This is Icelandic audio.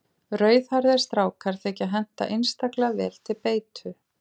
Rauðhærðir strákar þykja henta einstaklega vel til beitu.